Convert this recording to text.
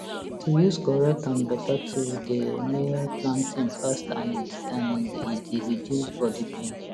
to use correct and beta tool dey may planting fast and and e d reduce body pain